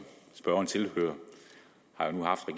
spørgeren tilhører